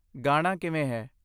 ਗਾਣਾ' ਕਿਵੇਂ ਹੈ?